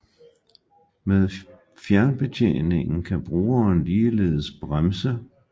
Med fjernbetjening kan brugeren ligeledes bremse